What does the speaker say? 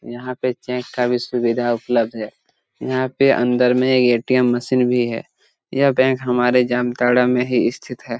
यहां पर चेक का भी सुविधा उपलब्ध है यहां पर अंदर में एक ए.टी.एम. मशीन भी है या बैंक हमारे जामताड़ा में ही स्थित हैं।